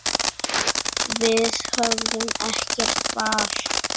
Við höfum ekkert val.